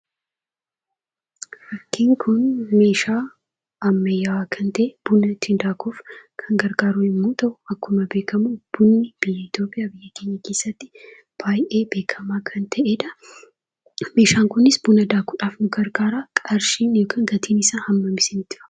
Fakkiin kun meeshaa ammayyaawaa kan ta'e buna ittiin daakuuf kan gargaaru yemmuu ta'u; akkuma beekamu bunni biyya Itoophiyaa biyya keenya keessatti baay'ee beekamaa kan ta'edhaa. Meeshaan kunis buna daakuudhaaf nu gargaara. Qarshiin yookiin gatiin isaa hammam isinitti fakkaata?